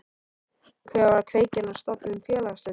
Hver var kveikjan að stofnun félagsins?